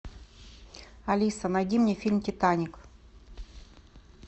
алиса найди мне фильм титаник